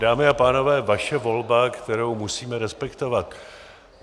Dámy a pánové, vaše volba, kterou musíme respektovat.